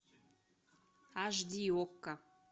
аш ди окко